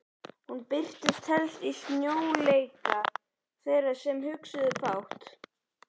Hún birtist helst í sljóleika þeirra sem hugsuðu fátt.